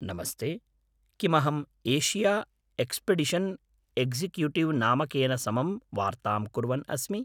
नमस्ते, किम् अहम् एशिया एक्स्पेडिशन् एक्शिक्यूटिव् नामकेन समं वार्तां कुर्वन् अस्मि?